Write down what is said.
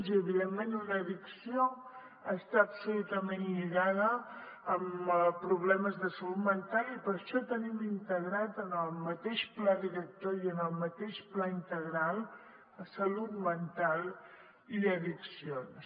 i evidentment una addicció està absolutament lligada a problemes de salut mental i per això tenim integrat en el mateix pla director i en el mateix pla integral salut mental i addiccions